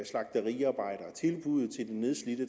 slagteriarbejdere tilbuddet til det nedslidte